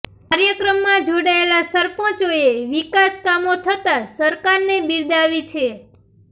કાર્યક્રમમાં જોડાયેલા સરપંચોએ વિકાસ કામો થતાં સરકારને બિરદાવી છે